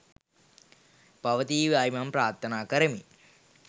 පවතීවායි මම ප්‍රාර්ථනා කරමි